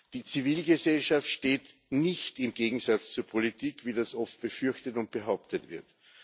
Die Zivilgesellschaft steht nicht im Gegensatz zur Politik, wie das oft befürchtet und behauptet wird.